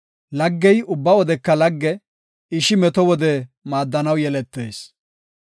Laggey ubba wodeka lagge; ishi meto wode maaddanaw yeletees.